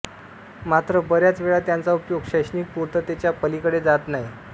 मात्र बऱ्याच वेळा त्यांचा उपयोग शैक्षणिक पूर्ततेच्या पलीकडे जात नाही